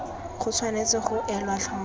go tshwanetse ga elwa tlhoko